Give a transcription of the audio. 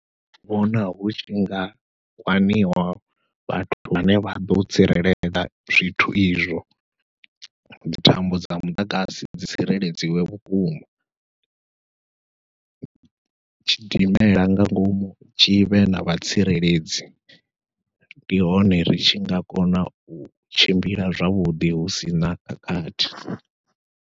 Ndi vhona hutshi nga kwaniwa vhathu vhane vha ḓo tsireledza zwithu izwo, dzi thambo dza muḓagasi dzi tsireledziwe vhukuma. Tshidimela nga ngomu tshivhe na vhatsireledzi ndi hone ri tshi nga kona u tshimbila zwavhuḓi husina khakhathi.